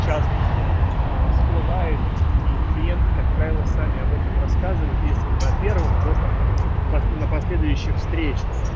частности а всплывает и клиенты как правило сами об этом рассказывают если на первом то там так на последующих встреч